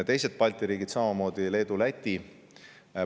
Teised Balti riigid, Leedu ja Läti, teevad samamoodi.